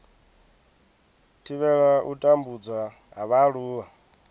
thivhela u tambudzwa ha vhaaluwa